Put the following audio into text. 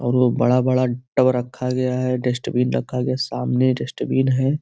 और वो बड़ा-बड़ा टब रखा गया है डस्ट बिन रखा गया सामने डस्ट बिन है।